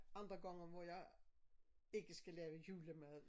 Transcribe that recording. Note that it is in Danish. Andre gange hvor jeg ikke skal lave julemad